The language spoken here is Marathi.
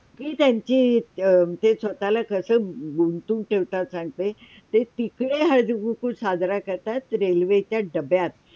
ही त्यांची जी स्वताला कसा गुंतून ठेवतात सांगते. ते तिकडे हळदीकुंकू साजरा करतात रेल्वेच्या डब्यात